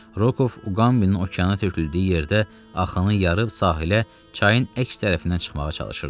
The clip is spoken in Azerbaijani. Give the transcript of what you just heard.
Rokov Uqambinin okeana töküldüyü yerdə axanı yarıb sahilə, çayın əks tərəfindən çıxmağa çalışırdı.